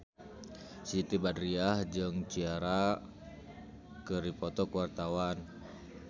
Siti Badriah jeung Ciara keur dipoto ku wartawan